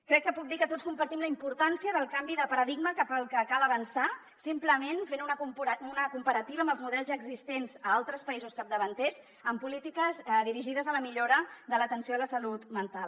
crec que puc dir que tots compartim la importància del canvi de paradigma cap al que cal avançar simplement fent una comparativa amb els models ja existents a altres països capdavanters en polítiques dirigides a la millora de l’atenció a la salut mental